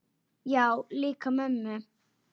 Já, líka mömmu